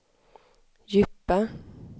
djupa